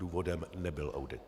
Důvodem nebyl audit.